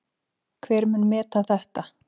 Hver mun meta þetta?